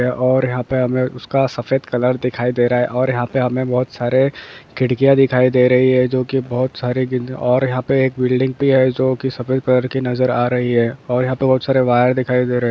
और यहाँ पे हमे उसका सफेद कलर दिखाई दे रहा है और यहाँ पे हमे बहुत सारे खिड़कियां दिखाई दे रही है जो की बहुत सारी और यहाँ पे एक बिल्डिंग भी है जो की सफेद कलर की नजर आ रही है और यहाँ पे बहुत सारे वायर दिखाई दे रहे है।